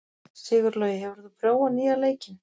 Sigurlogi, hefur þú prófað nýja leikinn?